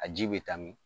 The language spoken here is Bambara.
A ji bɛ taa min